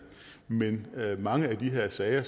men mange af de her sager